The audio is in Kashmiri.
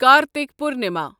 کارتِک پورنما